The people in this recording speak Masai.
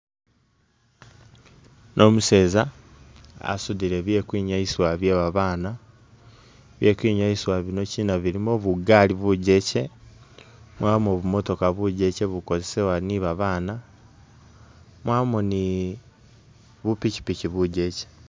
Umuseza asudile byekukwinyayisibwa byebabaana byekukwinyasibwa bino china bilimo bugaali bujeche mwabamo bumodoka bujeche bukosezewa ni babaana mwabamo ni bupichipichi bujeche